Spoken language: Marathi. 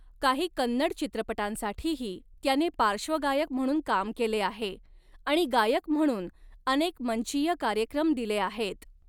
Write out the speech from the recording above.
काही कन्नड चित्रपटांसाठीही त्याने पार्श्वगायक म्हणून काम केले आहे आणि गायक म्हणून अनेक मंचीय कार्यक्रम दिले आहेत.